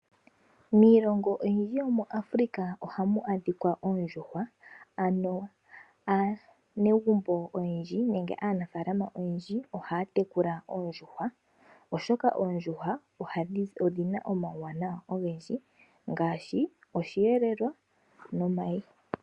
Miilongo oyindji yomuAfrica ohamu adhika oondjuhwa, ano aanegumbo oyendji nenge aanafalama oyendji ohaya tekula oondjuhwa, oshoka oondjuhwa odhina omauwanawa ogendji ngashi oshiyelelwa no mayi.